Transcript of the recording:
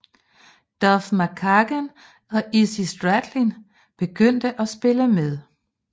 Duff McKagan og Izzy Stradlin begyndte at spille med